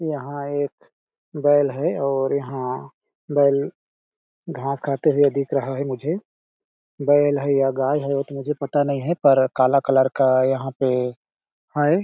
यहाँ एक बैल है और यहाँ बैल घाँस खाते हुए दिख रहा है मुझे बैल है या गाय है मुझे पता नहीं है पर काला कलर का यहाँ पे है।